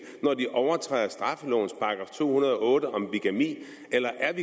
når de overtræder straffelovens § to hundrede og otte om bigami eller er